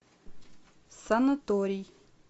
санаторий